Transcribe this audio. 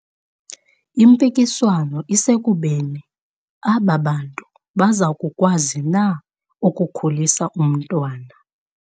Impikiswano isekubeni aba bantu baza kukwazi na ukukhulisa umntwana.